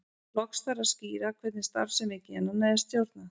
Loks þarf að skýra hvernig starfsemi genanna er stjórnað.